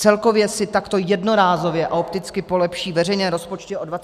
Celkově si takto jednorázově a opticky polepší veřejné rozpočty o 24 mld.